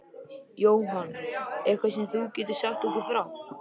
Jóhann: Eitthvað sem þú getur sagt okkur frá?